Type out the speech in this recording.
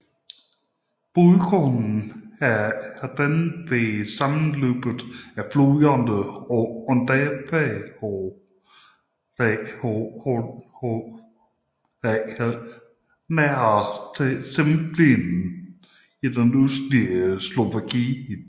Bodrogen er dannet ved sammenløbet af floderne Ondava og Latorytsja nær Zemplín i det østlige Slovakiet